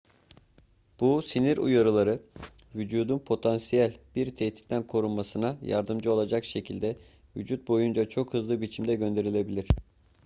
bu sinir uyarıları vücudun potansiyel bir tehditten korunmasına yardımcı olacak şekilde vücut boyunca çok hızlı biçimde gönderilebilir